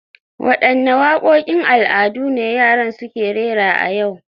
Wadanne wakokin al'adu ne yaran suke rera a yau